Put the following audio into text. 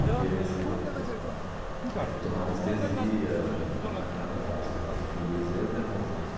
Porque você aí tem que tomar anestesia, não é nada fácil né, fiz eu e meu irmão juntos.